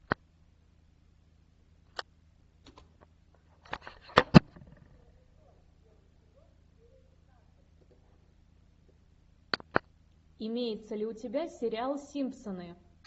имеется ли у тебя сериал симпсоны